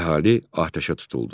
Əhali atəşə tutuldu.